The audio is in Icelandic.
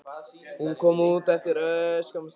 Hún kom út eftir örskamma stund.